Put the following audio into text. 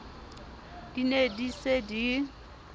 di ne di se di